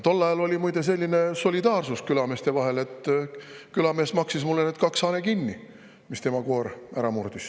Tol ajal oli muide selline solidaarsus külameeste vahel, et külamees maksis mulle need kaks hane kinni, mis tema koer ära murdis.